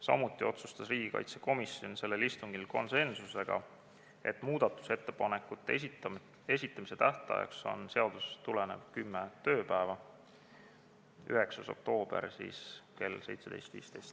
Samuti otsustas riigikaitsekomisjon sellel istungil konsensusega, et muudatusettepanekute esitamise tähtaeg on seadusest tulenev kümme tööpäeva, seega 9. oktoober kell 17.15.